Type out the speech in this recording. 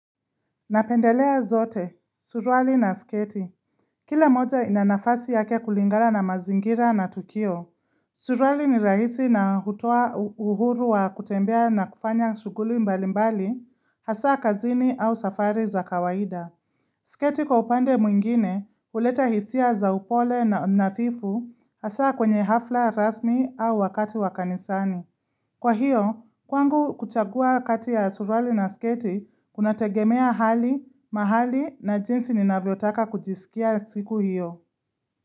Napendelea zote, suruali na sketi. Kila moja inanafasi yake kulingana na mazingira na tukio. Suruali ni rahisi na hutoa uhuru wa kutembea na kufanya shughuli mbali mbali, hasa kazini au safari za kawaida. Sketi kwa upande mwingine huleta hisia za upole na nadhifu hasa kwenye hafla rasmi au wakati wakanisani. Kwa hiyo, kwangu kuchagua kati ya suruali na sketi kuna tegemea hali, mahali na jinsi nina vyotaka kujisikia siku hiyo.